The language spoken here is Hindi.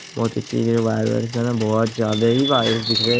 बोहोत ही चीज है वायर वायर सब है बोहोत ज्यादा ही वायर दिख रहे है।